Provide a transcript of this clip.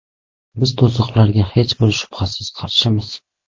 Biz to‘siqlarga hech bir shubhasiz qarshimiz.